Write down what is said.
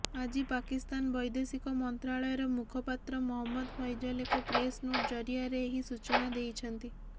ଆଜି ପାକିସ୍ତାନ ବୈଦେଶିକ ମନ୍ତ୍ରାଳୟର ମୁଖପାତ୍ର ମହମ୍ମଦ ଫୈଜଲ୍ ଏକ ପ୍ରେସ୍ ନୋଟ୍ ଜରିଆରେ ଏହି ସୂଚନା ଦେଇଛନ୍ତି